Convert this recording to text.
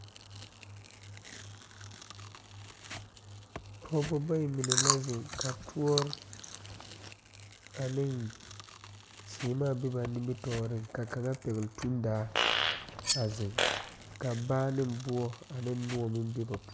Pɔgebo bayi mine la zeŋ ka toɔre ane seɛmaa biŋ ba nimitɔɔre ka kaŋa pegle tuŋdaa a zeŋ ka baa ne buo ane noɔ meŋ be ba puo.